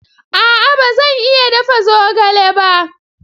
A'a ba zan iya dafa zogale ba.